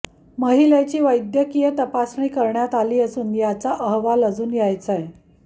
महिलेची वैद्यकीय तपासणी करण्यात आली असून याचा अहवाल अजून यायचाय